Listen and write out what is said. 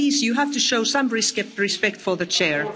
Please, you have to show some respect for the Chair.